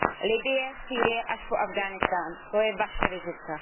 Libye, Sýrie až po Afganistán, to je vaše vizitka.